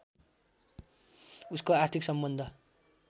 उसको आर्थिक सम्बन्ध